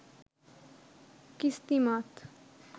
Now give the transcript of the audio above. কিস্তিমাত